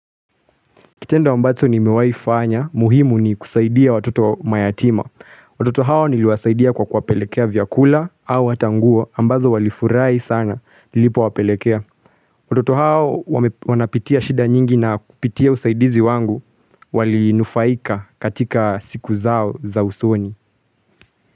Kitendo ambazo nimewahi fanya, muhimu ni kusaidia watoto mayatima. Watoto hao niliwasaidia kwa kuwapelekea vyakula au hata nguo ambazo walifurai sana nilipowapelekea. Watoto hao wanapitia shida nyingi na kupitia usaidizi wangu walinufaika katika siku zao za usoni.